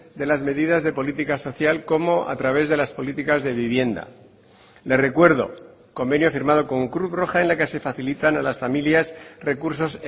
de las medidas de política social como a través de las políticas de vivienda le recuerdo convenio firmado con cruz roja en la que se facilitan a las familias recursos